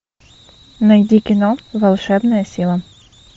найди кино волшебная сила